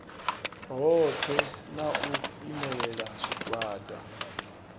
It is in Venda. hoṱhe na u imelela zwigwada